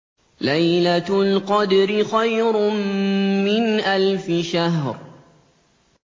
لَيْلَةُ الْقَدْرِ خَيْرٌ مِّنْ أَلْفِ شَهْرٍ